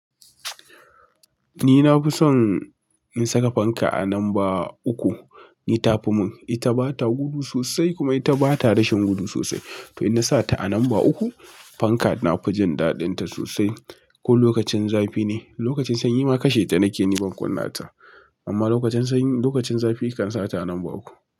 Ni na fi son in saka fanka a lamba uku. Ni ta fi mun, ita bata gudu sosai kuma ita bata rashin gudu sosai. To ina sata a lamba uku fanka nafi jin da dinta sosai ko lokacin zafi ne, lokacin sanyi ma kashe ta nake ni bakuna ta. Amma lokacin sanyi, lokacin zafi kan sa ta a lamba uku.